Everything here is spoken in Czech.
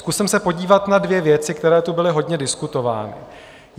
Zkusím se podívat na dvě věci, které tu byly hodně diskutovány.